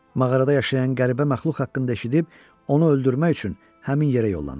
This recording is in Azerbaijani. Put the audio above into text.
Mağarada yaşayan qəribə məxluq haqqında eşidib, onu öldürmək üçün həmin yerə yollanır.